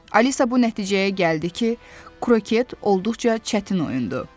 Alisa bu nəticəyə gəldi ki, kroket olduqca çətin oyundu.